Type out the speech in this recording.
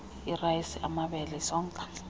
irayisi amabele isonka